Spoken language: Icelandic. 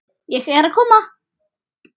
Ég er að koma